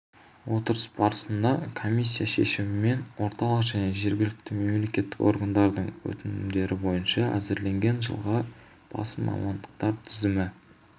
отырыс барысында комиссия шешімімен орталық және жергілікті мемлекеттік органдардың өтінімдері бойынша әзірленген жылға басым мамандықтар тізімі